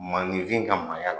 Maanifin ka maaya la.